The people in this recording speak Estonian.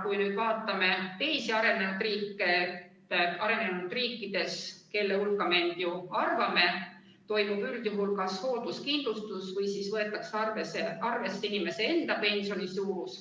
Kui vaatame teisi riike, siis arenenud riikides, kelle hulka me end ju arvame, toimub üldjuhul kas hoolduskindlustus või võetakse arvesse inimese enda pensioni suurus,